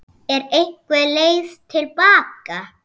Er einhver leið til baka?